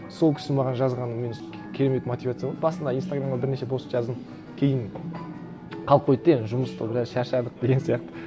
сол кісі маған жазғаны мені керемет мотивация болды басында инстаграмға бірнеше пост жаздым кейін қалып қойды да енді жұмыста біраз шаршадық деген сияқты